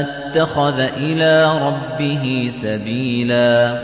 اتَّخَذَ إِلَىٰ رَبِّهِ سَبِيلًا